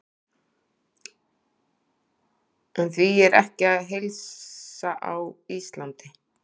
En því er ekki að heilsa á Íslandi.